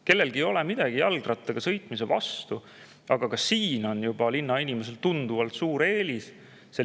Kellelgi ei ole midagi jalgrattaga sõitmise vastu, aga ka selles on linnainimesel tuntavalt suur eelis.